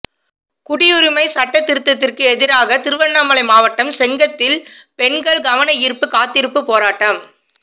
குடியுரிமை சட்டத் திருத்ததுக்கு எதிராக திருவண்ணாமலை மாவட்டம் செங்கத்தில் பெண்கள் கவன ஈர்ப்பு காத்திருப்பு போராட்டம்